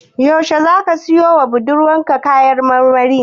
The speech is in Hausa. Yaushe zaka siyowa budurwarka kaya marmari?